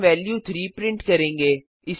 हम value 3 print करेंगे